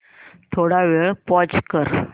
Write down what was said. थोडा वेळ पॉझ कर